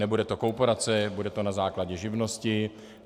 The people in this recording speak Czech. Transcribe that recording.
Nebude to korporace, bude to na základě živnosti.